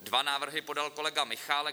Dva návrhy podal kolega Michálek.